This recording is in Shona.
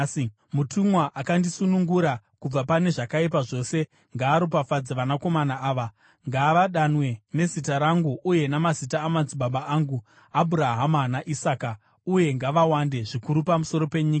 Mutumwa akandisunungura kubva pane zvakaipa zvose, ngaaropafadze vakomana ava. Ngavadanwe nezita rangu uye namazita amadzibaba angu Abhurahama naIsaka, uye ngavawande zvikuru pamusoro penyika.”